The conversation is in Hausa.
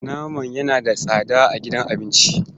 Naman yana da tsada a gidan abinci.